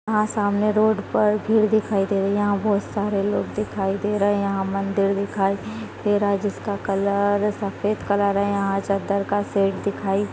यहाँ सामने रोड पर भीड़ दिखाई दे रही है यहाँ बहुत सारे लोग दिखाई दे रहे है यहाँ मंदिर दिखाई दे रहा है जिसका कलर सफ़ेद कलर है यहाँ चद्दर का सेट दिखाई--